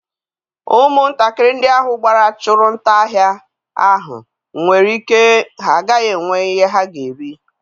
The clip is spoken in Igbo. Ụmụntakịrị ndị ahụ gbara chụrụ nta ahịa ahụ nwere ike ha agaghị enwe ihe ha ga-eri.